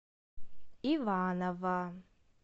иваново